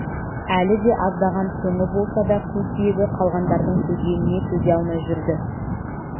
әлі де аздаған қоңы болса да қу сүйегі қалғандардың төзгеніне төзе алмай жүрді